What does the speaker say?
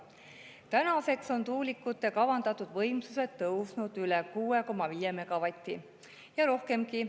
Tänaseks on tuulikute kavandatud võimsused tõusnud üle 6,5 megavati ja rohkemgi.